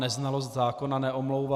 Neznalost zákona neomlouvá.